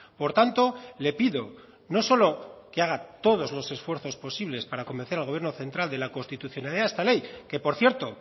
por tanto le pido no solo que haga todos los esfuerzos posibles para convencer al gobierno central de la constitucionalidad de esta ley que por cierto